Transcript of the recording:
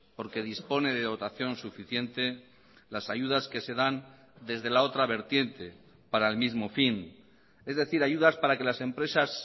porque dispone de dotación suficiente las ayudas que se dan desde la otra vertiente para el mismo fin es decir ayudas para que las empresas